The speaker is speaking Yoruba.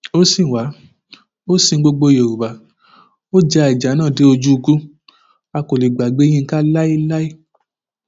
ó sìn wá ó sin gbogbo yorùbá ó ja ìjà náà dé ojú ikú a kò lè gbàgbé yinka láéláé